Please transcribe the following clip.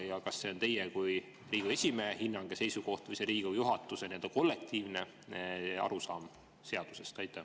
Ja kas see on teie kui Riigikogu esimehe hinnang ja seisukoht või see on Riigikogu juhatuse kollektiivne arusaam seadusest?